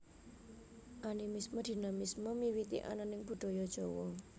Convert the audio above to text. Animisme Dinamisme miwiti ananing Budaya Jawa